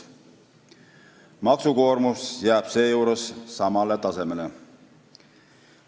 Maksukoormus jääb seejuures samale tasemele.